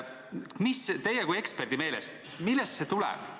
Millest see teie kui eksperdi meelest tuleb?